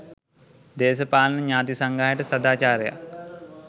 දේශපාලන ඥාති සංග්‍රහයට සදාචාරයක්